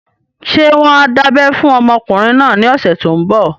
Ṣé wọ́n á dábẹ́ fún ọmọkùnrin náà ní ọ̀sẹ̀ tó n bọ̀?